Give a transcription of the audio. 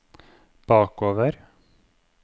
bakover